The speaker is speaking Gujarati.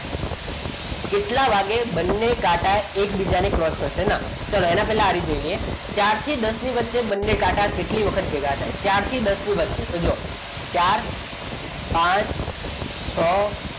કેટલા વાગે બંને કાંટા એકબીજાને cross કરશે ચલો એના પહેલા આ રીત જોઈએ ચારથી દસ ની વચ્ચે બંને કાંટા કેટલી વખત ભેગા થાય ચારથી દસની વચ્ચે તો જુઓ ચાર પાંચ છ